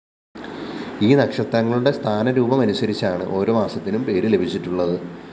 ഈ നക്ഷത്രങ്ങളുടെ സ്ഥാനരൂപമനുസരിച്ചാണ് ഓരോ മാസത്തിനും പേര് ലഭിച്ചിട്ടുള്ളത്